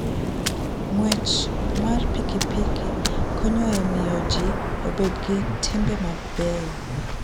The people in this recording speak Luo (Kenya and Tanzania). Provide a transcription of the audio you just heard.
Ng'wech mar pikipiki konyo e miyo ji obed gi timbe mabeyo.